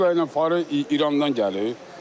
Beluqa ilə farı İrandan gəlir.